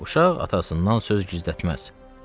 Uşaq atasından söz gizlətməz.